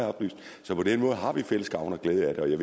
så på den måde har vi fælles gavn og glæde af det og jeg